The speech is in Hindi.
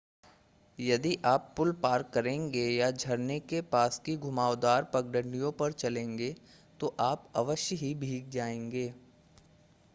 यदि आप पुल पार करेंगे या झरने के पास की घुमावदार पगडंडियों पर चलेंगे तो आप अवश्य हीे भीग जाएंगे